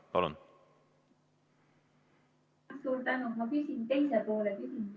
Palun!